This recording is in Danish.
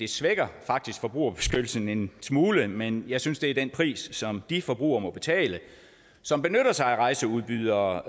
svækker forbrugerbeskyttelsen en smule men jeg synes det er den pris som de forbrugere må betale som benytter sig af rejseudbydere